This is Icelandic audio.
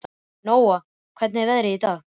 Nóa, hvernig er veðrið í dag?